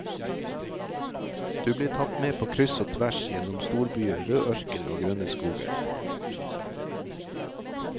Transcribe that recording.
Du blir tatt med på kryss og tvers, gjennom storbyer, rød ørken og grønne skoger.